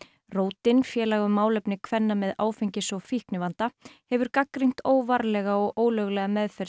rótin félag um málefni kvenna með áfengis og fíknivanda hefur gagnrýnt óvarlega og ólöglega meðferð